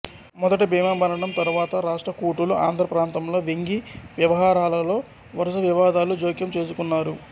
మొదటి బీమా మరణం తరువాత రాష్ట్రకూటులు ఆంధ్ర ప్రాంతంలో వెంగి వ్యవహారాలలో వరుస వివాదాలు జోక్యం చేసుకున్నారు